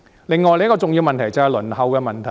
另一個重要問題，就是輪候時間。